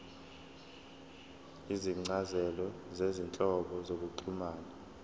izincazelo zezinhlobo zokuxhumana